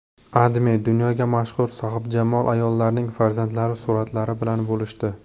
AdMe dunyoga mashhur sohibjamol ayollarning farzandlari suratlari bilan bo‘lishdi .